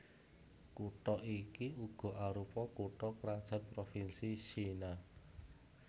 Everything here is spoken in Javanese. Kutha iki uga arupa kutha krajan provinsi Siena